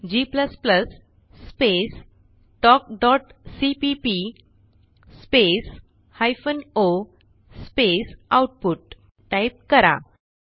g space talkसीपीपी space hyphen o space output type करा